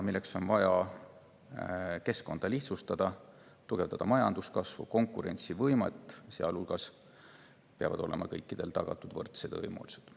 Selleks on vaja keskkonda lihtsustada, et majanduskasv ja tugevdada konkurentsivõimet, sealhulgas peavad olema kõikidele tagatud võrdsed võimalused.